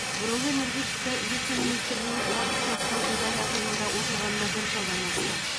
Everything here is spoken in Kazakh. бұрынғы энергетика вице министрінің уақытша ұстау изоляторында отырғанына бір жылдан асты